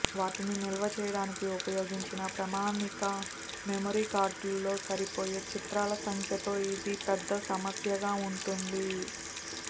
వాటిని నిల్వ చేయడానికి ఉపయోగించిన ప్రామాణిక మెమరీ కార్డుల్లో సరిపోయే చిత్రాల సంఖ్యతో ఇది పెద్ద సమస్యగా ఉంటుంది